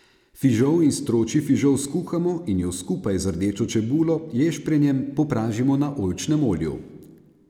Fižol in stročji fižol skuhamo in ju skupaj z rdečo čebulo, ješprenjem popražimo na oljčnem olju.